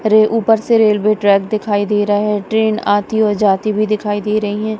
रे ऊपर से रेलवे ट्रैक दिखाई दे रहा है ट्रेन आती और जाती भी दिखाई दे रही हैं।